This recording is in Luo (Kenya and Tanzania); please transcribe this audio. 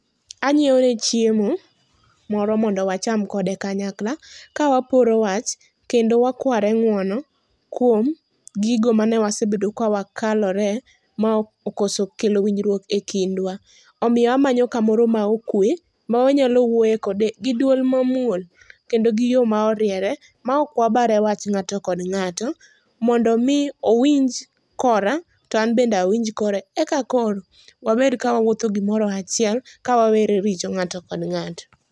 Anyieone chiemo moro mondo wacham kode kanyakla, kawaporo wach kendo wakware ng'uono kuom gigo mane wasebedo kawakalore ma okoso kelo winjruok e kindwa. Omiyo amanyo kamoro ma okwe, mawanyalo wuoye kode gi duol ma muol kendo gi yo ma oriere. Ma ok wabare wach ng'ato kod ng'ato, mondo mi owinj kora to an bende owinj kore. Eka koro, wabed ka wawuotho gimoro achiel, ka wawere richo ng'ato kod ng'ato.